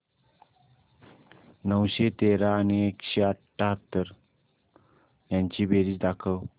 नऊशे तेरा आणि एकशे अठयाहत्तर यांची बेरीज दाखव